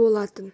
болатын